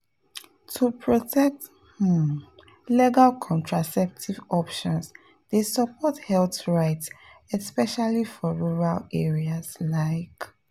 to protect um legal contraceptive options dey support health rights especially for rural areas like